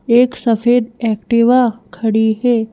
एक सफेद एक्टिवा खड़ी है।